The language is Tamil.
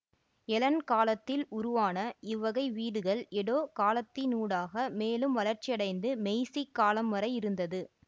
எலன் காலத்தில் உருவான இவ்வகை வீடுகள் எடோ காலத்தினூடாக மேலும் வளர்ச்சியடைந்து மெய்சிக் காலம் வரை இருந்தது